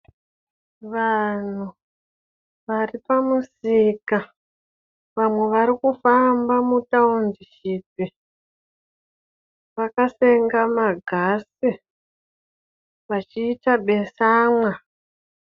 Vanhu varipamusika vamwe varikufamba mutaundishipi vakasenga ma gasi vachiita besamwa.